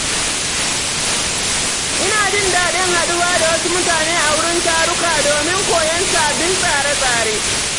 Ina jin daɗin haɗuwa da wasu mutane a wurin taruka don koyon sabbin tsare-tsare.